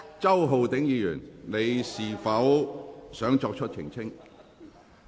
周浩鼎議員，你是否想作出澄清？